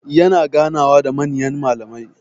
Yana ganawa da manyan mallamai.